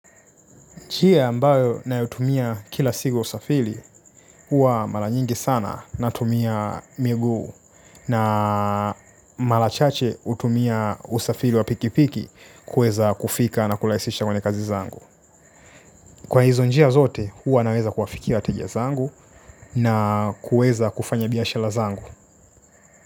Njia ambayo ninayotumia kila siku ya usafiri huwa mara nyingi sana natumia miguu na mara chache hutumia usafiri wa pikipiki kuweza kufika na kurahisisha kufanya kazi zangu. Kwa hizo njia zote huwa naweza kuwafikia wateja zangu na kuweza kufanya biashara zangu.